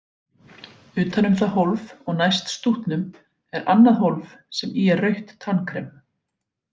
Utan um það hólf og næst stútnum er annað hólf sem í er rautt tannkrem.